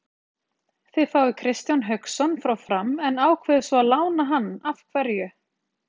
Þið fáið Kristján Hauksson frá Fram en ákveðið svo að lána hann af hverju?